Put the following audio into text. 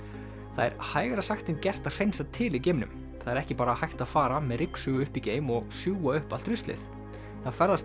það er hægara sagt en gert að hreinsa til í geimnum það er ekki bara hægt að fara með ryksugu upp í geim og sjúga upp allt ruslið það ferðast